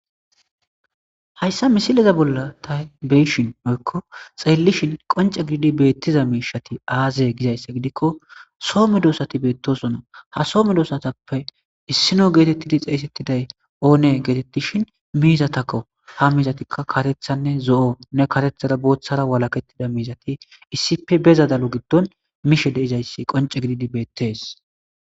Hayssa misileza bolla tay beyishin moykko xeelishin qonce gididi beettiza miishati aazee gizayssa gidikko soome doosati beettosona ha soome doosatappe issino geetettidi xeeysettiday oone geetettishin miizatakko ha miizatikka katethanne zo7o ne katethada booththara walakettida miizati issipe bezadalo giddon mishe deizayssi qonce gididi beettees.